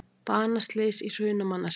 Banaslys í Hrunamannahreppi